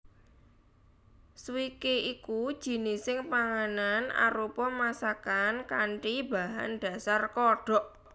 Swikee iku jinising panganan arupa masakan kanthi bahan dhasar kodhok